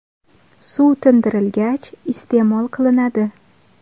Suv tindirilgach, iste’mol qilinadi.